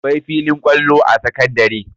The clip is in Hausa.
Akwai filin kwallo a sakandare